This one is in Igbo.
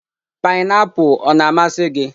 painiapulu ọ na-amasị gị?